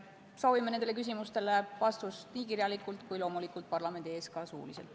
Soovime nendele küsimustele vastust nii kirjalikult kui ka loomulikult parlamendi ees suuliselt.